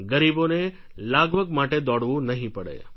ગરીબોને લાગવગ માટે દોડવું નહિ પડે